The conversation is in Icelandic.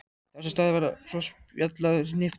Þar sem staðið var og spjallað hnippti